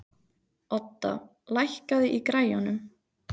Odda, lækkaðu í græjunum.